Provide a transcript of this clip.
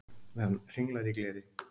Það hringlar í gleri.